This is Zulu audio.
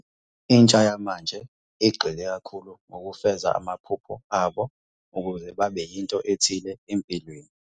Intsha yamanje igxile kakhulu ngokufeza amaphupho abo ukuze babe yinto ethile empilweni.